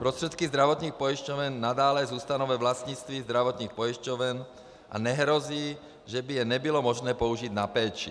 Prostředky zdravotních pojišťoven nadále zůstanou ve vlastnictví zdravotních pojišťoven a nehrozí, že by je nebylo možné použít na péči.